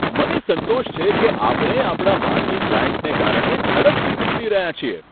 મને સંતોષ છે કે આપણે આપણા માર્કી ક્લાયન્ટને કારણે ઝડપથી વિકસી રહ્યા છીએ.